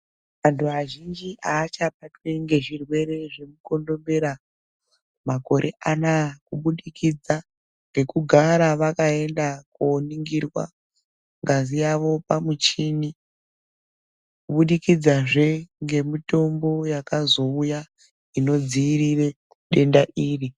Antu azhinji avachabatwi ngezvirwere zvemukorombera makore anaa kubudikidza ngekugara vakaenda koningirwa ngazi yavo pamuchini kubudikidza zvee ngemitombo yakazouya inodziirire denda iri